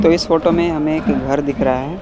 तो इस फोटो में हमें एक घर दिख रहा है।